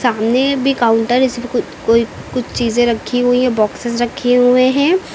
सामने में भी काउंटर कु कोई कुछ चीजें रखी हुई है बॉक्सेस रखे हुए हैं।